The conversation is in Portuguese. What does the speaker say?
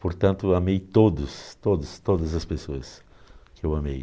Portanto, amei todos, todos, todas as pessoas que eu amei.